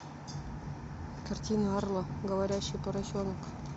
картина арло говорящий поросенок